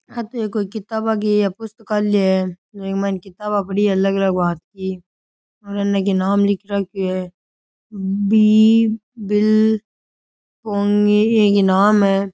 आ तो एक कोई किताबों की पुस्तकालय है जी मैं किताबें पड़ी है अलग अलग भांत की और अन की नाम नाम लिख रखो हैं इया की नाम है।